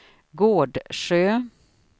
Gårdsjö